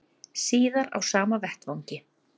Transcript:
Síðar á sama vettvangi